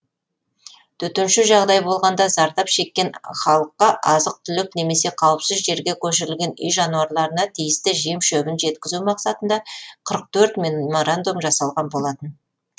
төтенше жағдай болғанда зардап шеккен халыққа азық түлік немесе қауіпсіз жерге көшірілген үй жануарларына тиісті жем шөбін жеткізу мақсатында қырық төрт меморандум жасалған болатын